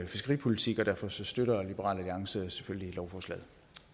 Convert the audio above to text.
fiskeripolitik og derfor støtter liberal alliance selvfølgelig lovforslaget